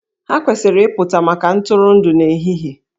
Ha kwesịrị ịpụta maka ntụrụndụ n'ehihie